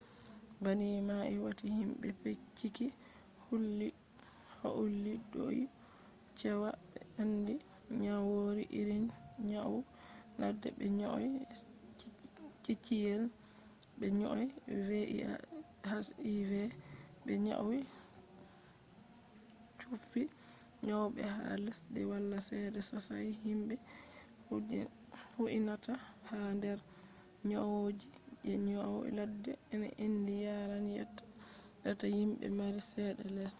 banni mai wati himbe bincike houlli dou cewa be andi nyawoji irin nyau ladde be nyau ciciyel be nyau hiv be nyau chuffi nyawobe ha lesdiji wala cede sosai himbe je huinata ha der nyowoji je nyau ladde je endi yaran reta himbe mari cede lesde